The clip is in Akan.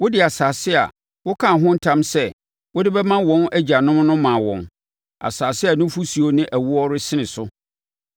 Wode asase a wokaa ho ntam sɛ wode bɛma wɔn agyanom no maa wɔn, asase a nufosuo ne ɛwoɔ resene so.